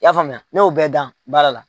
I y'a faamuya ne y'o bɛɛ dan baara la.